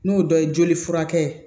N'o dɔ ye joli furakɛ